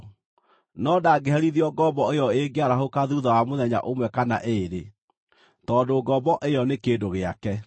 no ndangĩherithio ngombo ĩyo ĩngĩarahũka thuutha wa mũthenya ũmwe kana ĩĩrĩ, tondũ ngombo ĩyo nĩ kĩndũ gĩake.